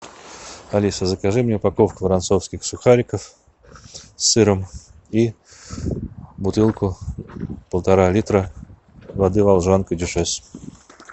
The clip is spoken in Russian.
алиса закажи мне упаковку воронцовских сухариков с сыром и бутылку полтора литра воды волжанка дюшес